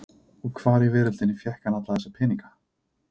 Og hvar í veröldinni fékk hann alla þessa peninga?